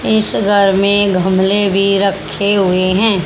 इस घर में घमले भी रखे हुए हैं।